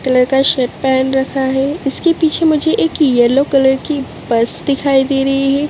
Colour का shirt पहन रखा है इसके पीछे मुझे एक येलो कलर की बस दिखाई दे रही है।